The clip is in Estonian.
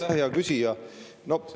Aitäh, hea küsija!